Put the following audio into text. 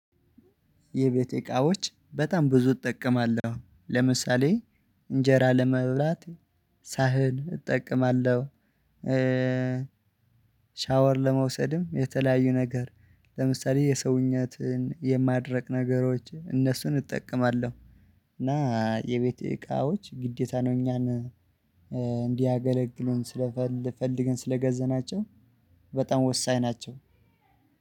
የቤቴ እቃዎች በጣም ብዙ እጠቀማለሁ። ለምሳሌ እንጀራ ለመብላት ሳህን እጠቀማለሁ። ሻወር ለመውሰድም የተለያዩ ነገር ለምሳሌ የሰውኛትን የማድረቅ ነገሮች እነሱን እጠቀማለሁ። እና የቤት እቃዎች ግዴታ ነው። እኛን እንዲያገለግሉን ስለፈልገን ስለገዘናቸው በጣም ወሳኝ ናቸው።